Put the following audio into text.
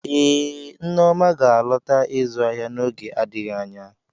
Ee, Neoma ga-alọta ịzụ ahịa n'oge adịghị anya.